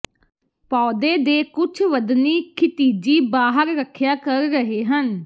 ਪੌਦੇ ਦੇ ਕੁਝ ਵਧਣੀ ਖਿਤਿਜੀ ਬਾਹਰ ਰੱਖਿਆ ਕਰ ਰਹੇ ਹਨ